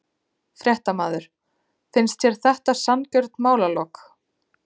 Fréttamaður: Finnst þér þetta sanngjörn málalok?